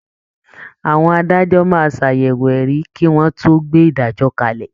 Àwọn adájọ́ máa ṣàyẹ̀wò ẹ̀rí kí wọ́n tó gbé ìdájọ́ kalẹ̀